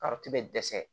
bɛ dɛsɛ